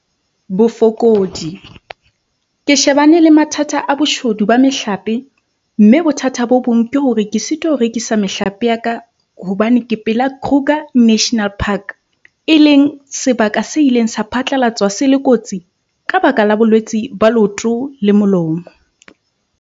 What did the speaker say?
Bofokodi- Ke shebane le mathata a boshodu ba mehlape, mme bothata bo bong ke hore ke sitwa ho rekisa mehlape ya ka hobane ke pela Kruger National Park, e leng sebaka se ileng sa phatlalatswa se le kotsi, red line, ka baka la bolwetse ba leoto le molomo.